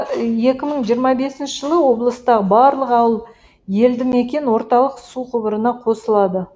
екі мың жиырма бесінші жылы облыстағы барлық ауыл елдімекен орталық су құбырына қосылады